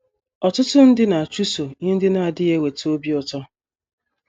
Ọtụtụ ndị na - achụso ihe ndị na - adịghị eweta obi ụtọ.